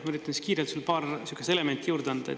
Ma üritan siis kiirelt sulle paar sihukest elementi juurde anda.